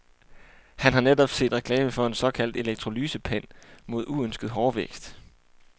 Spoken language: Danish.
Han har netop set reklame for en såkaldt elektrolysepen mod uønsket hårvækst.